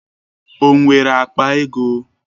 O nwere akpa ego?